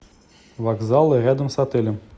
вокзалы рядом с отелем